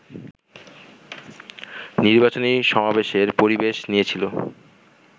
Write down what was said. নির্বাচনী সমাবেশের পরিবেশ নিয়েছিল